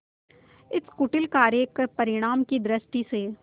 इस कुटिल कार्य के परिणाम की दृष्टि से